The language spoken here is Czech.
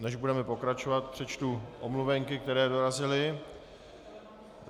Než budeme pokračovat, přečtu omluvenky, které dorazily.